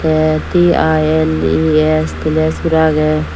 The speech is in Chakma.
tey T_I_N_E_S tines guri agey.